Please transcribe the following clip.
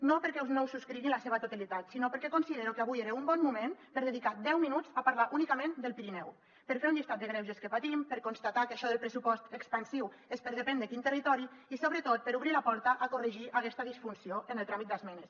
no perquè no ho subscrigui en la seva totalitat sinó perquè considero que avui era un bon moment per dedicar deu minuts a parlar únicament del pirineu per fer un llistat dels greuges que patim per constatar que això del pressupost expansiu és per a depèn de quin territori i sobretot per obrir la porta a corregir aquesta disfunció en el tràmit d’esmenes